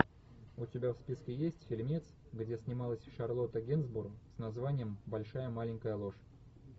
у тебя в списке есть фильмец где снималась шарлотта генсбур с названием большая маленькая ложь